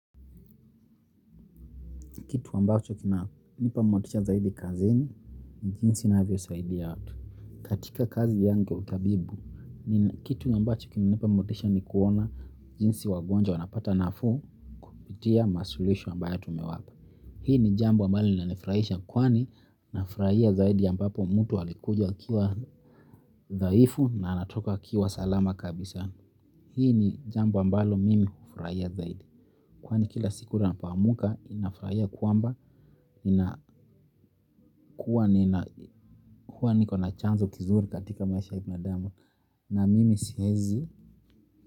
Kitu ambacho kina nipa motisha zaidi kazini, ni jinsi ninavyo saidia watu. Katika kazi yangu ya utabibu, kitu ambacho kina nipa motisha ni kuona jinsi wagonja wanapata nafuu, kupitia masuluhisho ambayo tumewapa. Hii ni jambo ambalo linanifurahisha kwani nafurahia zaidi ya ambapo mtu alikuja akiwa dhaifu na anatoka akiwa salama kabisa. Hii ni jambo ambalo mimi hufurahia zaidi. Kwani kila siku napo amka nafurahia kwamba, huwa niko na chanzo kizuri katika maisha ya binadamu na mimi siwezi.